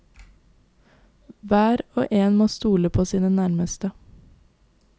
Hver og en må stole på sine nærmeste.